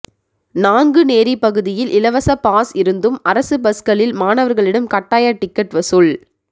நாங்குநேரி பகுதியில் இலவச பாஸ் இருந்தும் அரசு பஸ்களில் மாணவர்களிடம் கட்டாய டிக்கெட் வசூல்